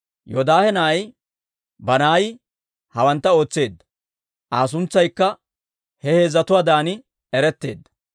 Yoodaahe na'ay Banaayi hawantta ootseedda. Aa suntsaykka he heezzatuwaadan eretteedda.